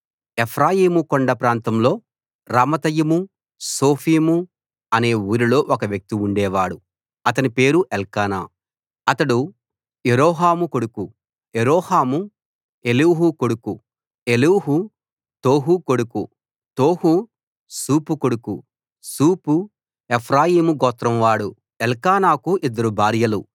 ఎఫ్రాయిము కొండ ప్రాంతంలో రామతయిముసోఫీము అనే ఊరిలో ఒక వ్యక్తి ఉండేవాడు అతని పేరు ఎల్కానా అతడు యెరోహాము కొడుకు యెరోహాము ఎలీహు కొడుకు ఎలీహు తోహు కొడుకు తోహు సూపు కొడుకు సూపు ఎఫ్రాయీము గోత్రంవాడు ఎల్కానాకు ఇద్దరు భార్యలు